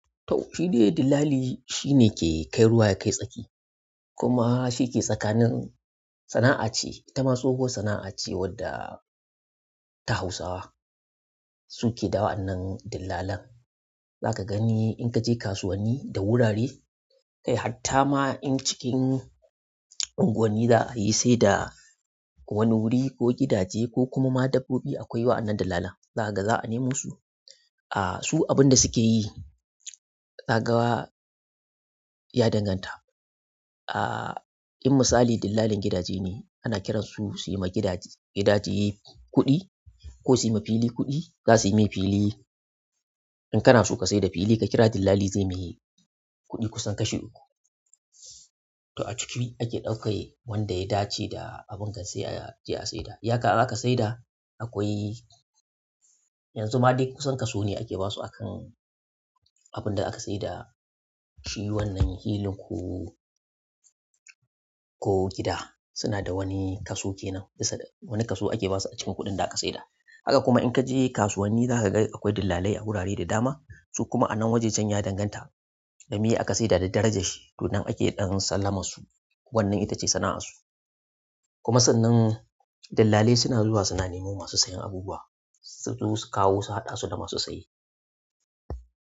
To shidai dillali, shine ke kai ruwa ya kai tsaki, kuma shike tsakanin sana'a ce, itama ma tsohuwar sana'a ce ta Hausawa sukeda wa'anan dillalan. Zaka gani in kaje kasuwanni da wurare, kai hatta ma in cikin unguwanni za a yi sai da wani wuri ko gidaje ko kuma ma dabbobi akwai wa'anan dillalan. Zakaga, za a nemo su. A su abunda suke yi, zagawa ya danganta. Aaa, in misali dillalin gidaje ne, ana kiran su su yima gidaje, gidaje kuɗi ko suyi ma fili kuɗi, za su yi mai fili. In kana so ka saida fili ka kira dillali zai yi mai kuɗi kusan kashi uku. To a ciki ake ɗauka wanda ya dace da abinga sai a je a saida. In aka saida akwai, yanzu ma duk kusan kaso ne ake basu akan abunda aka saida shi wannan filin ko, ko gida suna da wani kaso kenan bisa wani kaso ake basu a cikin kuɗin da aka saida. Haka kuma in kaje kasuwanni za kaga akwai dillalai a wurare da dama. Su kuma a nan wajajen ya danganta dame aka saida da darajar shi, to nan ake ɗan sallamar su, wannan ita ce sana'arsu. Kuma sannan dillalai suna zuwa suna neman masu sayan abubuwa. Su taho su kawo su haɗasu da masu saye.